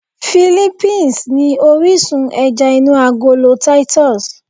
Philippines ni orísun ẹja inú agolo Titus